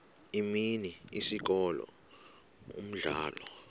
imini isikolo umdlalo